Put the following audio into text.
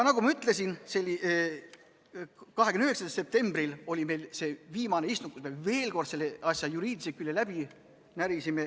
Nagu ma ütlesin, 29. septembril oli meil viimane istung, kus me veel kord selle asja juriidilised küljed läbi närisime.